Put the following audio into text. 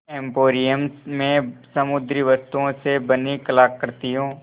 emporium में समुद्री वस्तुओं से बनी कलाकृतियाँ